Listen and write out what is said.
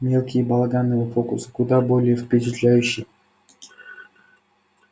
мелкие балаганные фокусы куда более впечатляющи